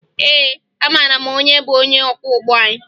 Ee, amara m onye bụ onye ọkwọụgbọ anyị